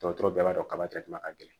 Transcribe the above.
Dɔgɔtɔrɔ bɛɛ b'a dɔn ka ka gɛlɛn